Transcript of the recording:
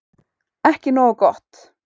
Ekki nógu gott